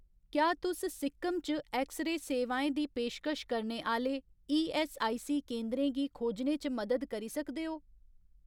क्या तुस सिक्किम च ऐक्स रे सेवाएं दी पेशकश करने आह्‌ले ईऐस्सआईसी केंदरें गी खोजने च मदद करी सकदे ओ ?